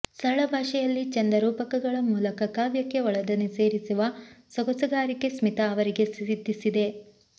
ಸರಳ ಭಾಷೆಯಲ್ಲಿ ಚೆಂದ ರೂಪಕಗಳ ಮೂಲಕ ಕಾವ್ಯಕ್ಕೆ ಒಳದನಿ ಸೇರಿಸುವ ಸೊಗಸುಗಾರಿಕೆ ಸ್ಮಿತಾ ಅವರಿಗೆ ಸಿದ್ಧಿಸಿದೆ